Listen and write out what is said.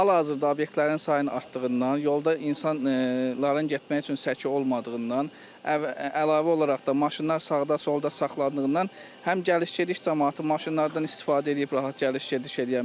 Hal-hazırda obyektlərin sayının artdığından, yolda insanların getmək üçün səki olmadığından əlavə olaraq da maşınlar sağda-solda saxlandığından həm gediş-gəliş camaatı maşınlardan istifadə eləyib rahat gediş-gəliş eləyə bilmir.